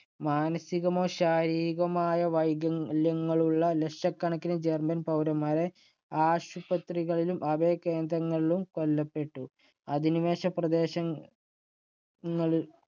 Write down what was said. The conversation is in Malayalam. മാനസികമോ ശാരീരികമോ ആയ വൈകല്യങ്ങളുള്ള ലക്ഷക്കണക്കിന് ജർമ്മൻ പൗരന്മാരെ ആശുപത്രികളിലും അഭയകേന്ദ്രങ്ങളിലും കൊല്ലപ്പെട്ടു. അധിനിവേശ പ്രദേശങ്ങൾ ~ങ്ങളില്‍